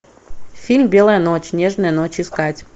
фильм белая ночь нежная ночь искать